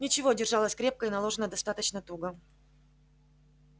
ничего держалась крепко и наложена достаточно туго